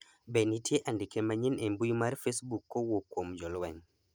be nitie andike manyien e mbui mar facebook kowuok kuom jolweny